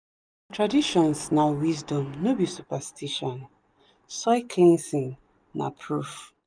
traditions na wisdom no be superstition soil cleansing na proof.